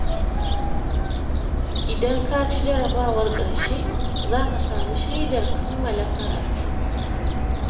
Idan ka ci jarabawar ƙarshe, za ka samu shaidar kammala karatu.